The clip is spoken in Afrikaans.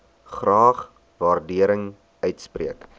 graag waardering uitspreek